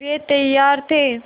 वे तैयार थे